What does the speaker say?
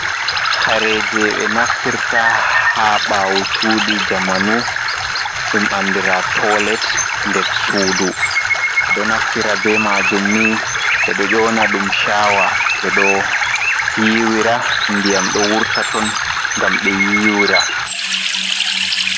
Haire jei 6e naftirta haa 6aawochuuđi jamanu, đum andiraa toolet ndessuudu, 6eđo naftira beh maajum nii 6eđo yoona đum shaawa 6eđo yiiwira ndiyam đo wurta ton ngam 6e yiiwira.